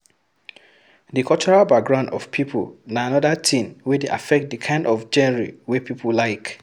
Di cultural background of people na anoda thing wey dey affect di kind of genre wey pipo like